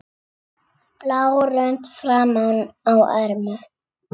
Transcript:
blá rönd framan á ermum.